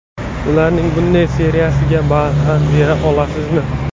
Ularning bunday seriyasiga barham bera olasizmi?